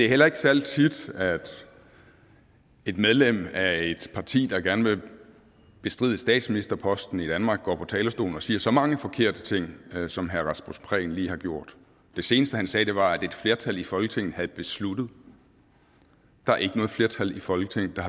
er heller ikke særlig tit at et medlem af et parti der gerne vil bestride statsministerposten i danmark går på talerstolen og siger så mange forkerte ting som herre rasmus prehn lige har gjort det seneste han sagde var at et flertal i folketinget havde besluttet der er ikke noget flertal i folketinget der